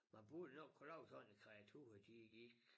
Man burde nok kunne lave sådan et kreatur de gik